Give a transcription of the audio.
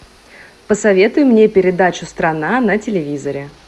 посоветуй мне передачу страна на телевизоре